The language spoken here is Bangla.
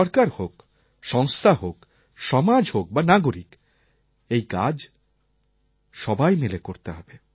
সরকার হোক সংস্থা হোক সমাজ হোক বা নাগরিক এই কাজ সবাই মিলে করতে হবে